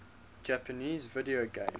japanese video game